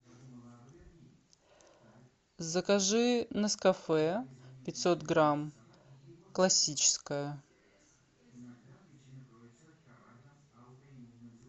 закажи нескафе пятьсот грамм классическое